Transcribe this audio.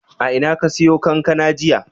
A ina ka siyo kankana jiya?